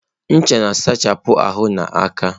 Ncha na-asachapụ ahụ na aka.